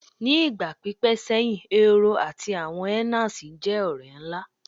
Ni igba pipẹ seyin Ehoro ati awọn hyenas jẹ ọrẹ nla